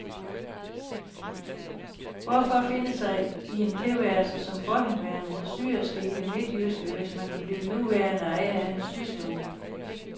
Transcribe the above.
Hvorfor finde sig i en tilværelse som forhenværende syerske i det midtjyske, hvis man kan blive nuværende ejer af en systue.